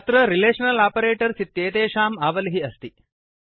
अत्र relational operators इत्येषाम् आवलिः अस्ति